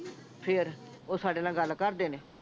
ਫੇਰ ਓਹ ਸਾਡੇ ਨਾਲ ਗੱਲ ਕਰਦੇ ਨੇ